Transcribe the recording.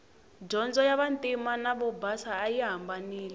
dyondzo ya vantima na vobasa ayi hambanile